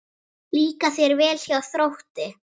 Líkar þér vel hjá Þrótti?